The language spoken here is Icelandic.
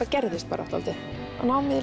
gerðist dálítið námið í